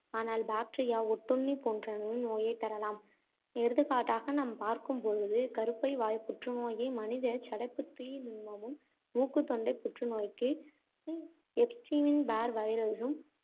ஆனால் bacteria ஒட்டுண்ணி போன்றனவும் நோயைத் தரலாம். எடுத்துக்காட்டாக நாம் பார்க்கும்பொழுது கருப்பை வாய்ப் புற்றுநோயை மனித சடைப்புத்துத் தீ நுண்மமும், மூக்குத் தொண்டைப் புற்றுநோய்க்கு எப்ஸ்டீன் பார் வைரஸும்,